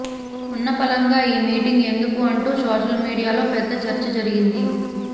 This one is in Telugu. ఉన్నపళంగా ఈ మీటింగ్ ఎందుకు అంటూ సోషల్ మీడియాలో పెద్ద చర్చ జరిగింది